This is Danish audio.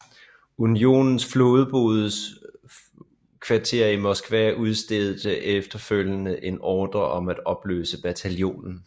Unionens flådehovedkvarter i Moskva udstedte efterfølgende en ordre om at opløse bataljonen